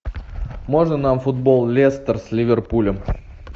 можно нам футбол лестер с ливерпулем